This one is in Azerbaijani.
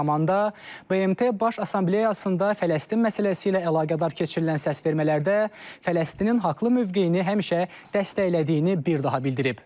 eyni zamanda, BMT Baş Assambleyasında Fələstin məsələsi ilə əlaqədar keçirilən səsvermələrdə Fələstinin haqlı mövqeyini həmişə dəstəklədiyini bir daha bildirib.